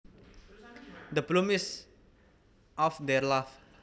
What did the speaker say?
The bloom is off their love